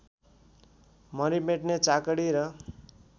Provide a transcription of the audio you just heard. मरिमेट्ने चाकडी र